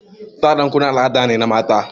Sa ɗan kunne al'ada ne na mata.